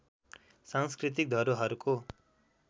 सांस्कृतिक धरोहरको